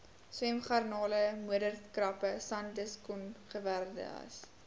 swemgarnale modderkrappe sandkusongewerweldes